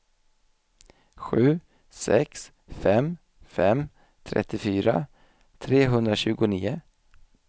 sju sex fem fem trettiofyra trehundratjugonio